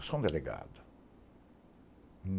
Eu sou um delegado.